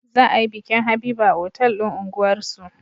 Za a yi bikin habiba a otal din unguwar su